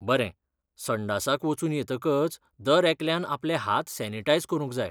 बरें! संडासाक वचून येतकच दरेकल्यान आपले हात सॅनिटायझ करूंक जाय.